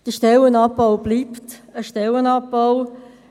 Der Stellenabbau bleibt ein Stellenabbau.